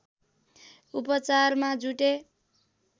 उपचारमा जुटे